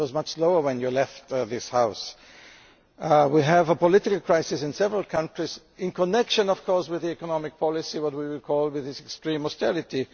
it was much lower when you left this House. We have a political crisis in several countries connected, of course, with the economic policies which we refer to as extreme austerity'.